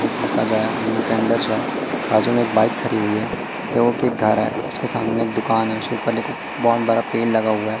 Gate में सजाया new tenders है बाजू में एक बाइक खड़ी हुई है जो कि एक घर है उसके सामने एक दुकान है उसके ऊपर एक बहुत बड़ा पेड़ लगा हुआ है।